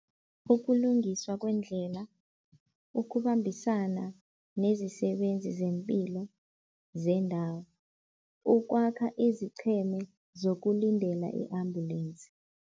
Ukulungiswa kwendlela, ukubambisana nezisebenzi zempilo zendawo, ukwakha izicheme zokulindela i-ambulensi.